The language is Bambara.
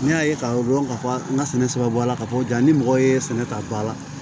N'i y'a ye k'a fɔ ko n ka sɛnɛ bɔ a la k'a fɔ ko jaa ni mɔgɔ ye sɛnɛ ta ba la